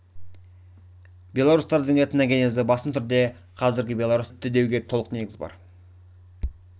белорустардың этногенезі басым түрде қазіргі беларусь республикасының аумағында өтті деуге толық негіз бар